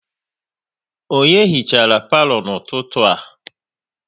Onye hichara palo n'ụtụtụ a?